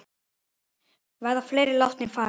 Verða fleiri látnir fara?